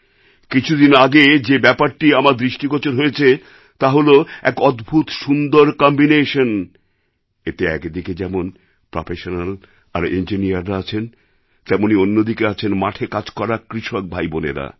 কিছুদিন আগে যে ব্যাপারটি আমার দৃষ্টিগোচর হয়েছে তা হল এক অদ্ভূত সুন্দর কম্বিনেশন এতে একদিকে যেমন প্রফেশনাল আর ইঞ্জিনিয়াররা আছেন তেমনই অন্যদিকে আছেন মাঠে কাজ করা কৃষক ভাইবোনেরা